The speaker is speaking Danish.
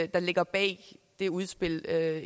der ligger bag det udspil